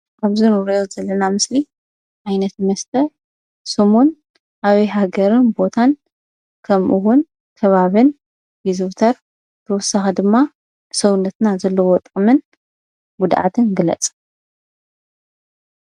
አብዚ እንሪኦ ዘለናምስሊ ዓይነት መስተ ስሙን ኣበይ ሃገርን ቦታን ከምኡ እውን ከባቢን ይዝውተር? ብተወሳኪ ድማ ንሰውነትና ዘለዎ ጥቅምን ጉድኣትን ግለፅ?